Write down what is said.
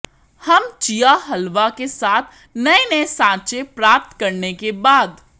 हम चिया हलवा के साथ नए नए साँचे प्राप्त करने के बाद